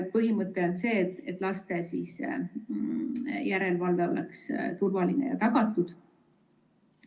Põhimõte on see, et lastel oleks turvaline ja järelevalve oleks tagatud.